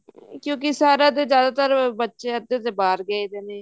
ਕਿਉਂਕਿ ਸਾਰੇ ਤਾਂ ਜਿਆਦਾਤਰ ਬੱਚੇ ਅੱਧੇ ਤੇ ਬਾਹਰ ਗਏ ਹੋਏ ਨੇ